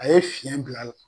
A ye fiyɛn bil'a la